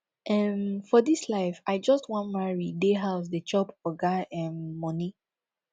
um for dis life i just wan marry dey house dey chop oga um moni